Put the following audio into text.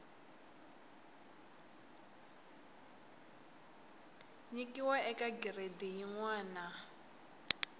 nyikiwa eka giredi yin wana